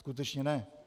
Skutečně ne.